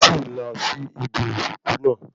N kò tíì lọ sí ibi ìsìnkú naa